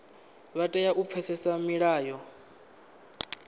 vha tea u pfesesa milayo